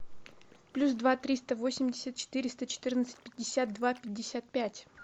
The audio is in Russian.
плюс два триста восемьдесят четыреста четырнадцать пятьдесят два пятьдесят пять